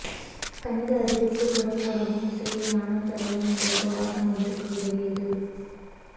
கணித அறிவுக்குப் புடம் போடவும் இசையில் ஞானம் பெறவும் இந்த உபவாசம் அவருக்கு உதவியது